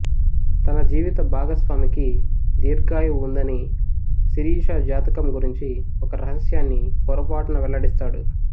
తన జీవిత భాగస్వామికి దీర్ఘాయువు ఉందని శిరీష జాతకం గురించి ఒక రహస్యాన్ని పొరపాటున వెల్లడిస్తాడు